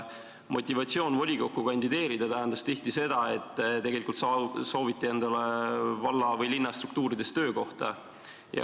Motivatsioon volikokku kandideerida tähendas tihti seda, et tegelikult sooviti endale valla- või linnastruktuurides töökohta.